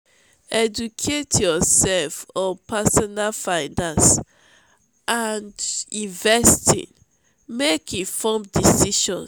educate yourself on pesinal finance and investing make informed decisions.